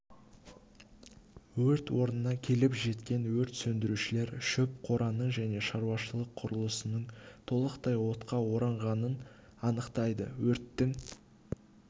өрт орнына келіп жеткен өрт сөндірушілер шөп қораның және шаруашылық құрылысының толықтай отқа оранғанын анықтайды өрттің